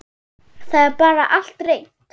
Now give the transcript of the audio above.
Það er bara allt reynt.